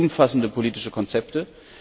Wir wollen umfassende politische Konzepte.